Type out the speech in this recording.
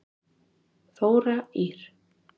Þóra Ýr.